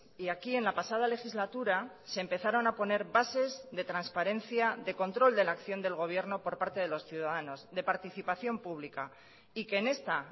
y aquí en la pasada legislatura se empezaron a poner bases de transparencia de control de la acción del gobierno por parte de los ciudadanos de participación pública y que en esta